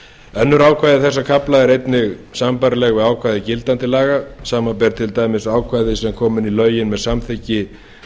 önnur ákvæði þessa kafla eru einnig sambærileg við ákvæði gildandi laga samanber til dæmis ákvæði sem kom inn í lögin með samþykki